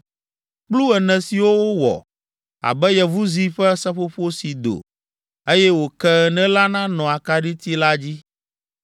Kplu ene siwo wowɔ abe yevuzi ƒe seƒoƒo si do, eye wòke ene la nanɔ akaɖiti la dzi.